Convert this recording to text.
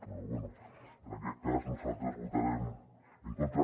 però bé en aquest cas nosaltres hi votarem en contra